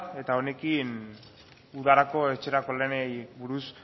eta honekin udarako etxerako lanei buruz